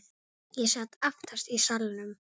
Ég sat aftast í salnum.